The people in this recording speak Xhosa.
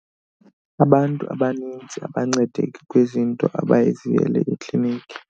Abantu abanintsi abancedeki kwizinto abaziyele ekliniki.